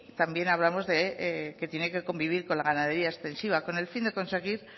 también hablamos de que tiene que convivir con la ganadería extensiva con el fin de conseguir